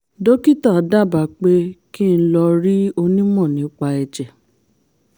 dókítà dábàá pé kí n lọ rí onímò nípa ẹ̀jẹ̀